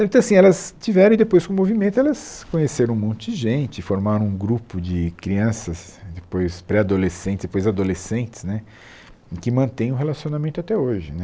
Então assim, elas tiveram e depois com o movimento elas conheceram um monte de gente, formaram um grupo de crianças, depois pré-adolescentes, depois adolescentes né, que mantém o relacionamento até hoje né.